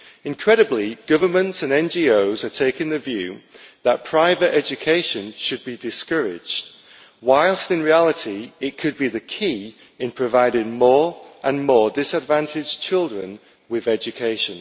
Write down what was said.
Incredibly, governments and NGOs are taking the view that private education should be discouraged, whilst in reality it could be the key in providing more and more disadvantaged children with education.